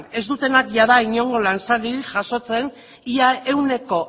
ez dutenak jada inongo lan saririk jasotzen ia ehuneko